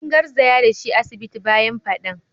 An garzaya da shi asibiti bayan fadan.